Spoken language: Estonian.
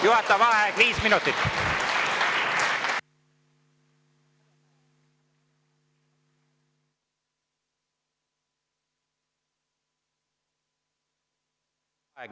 Juhataja vaheaeg viis minutit.